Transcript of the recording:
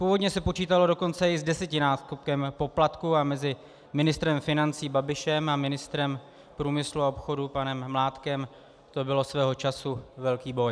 Původně se počítalo dokonce i s desetinásobkem poplatku a mezi ministrem financí Babišem a ministrem průmyslu a obchodu panem Mládkem to byl svého času velký boj.